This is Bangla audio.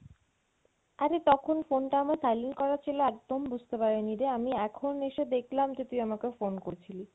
অরে তখন phone টা আমার silent করা ছিলো একদম বুঝতে পারি নি রে আমি এখন এসে দেখলাম যে তুই আমাকে phone করছিলি